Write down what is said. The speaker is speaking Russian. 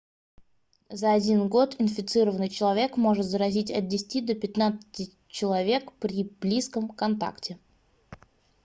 за один год инфицированный человек может заразить от 10 до 15 человек при близком контакте